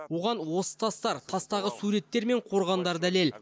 оған осы тастар тастағы суреттер мен қорғандар дәлел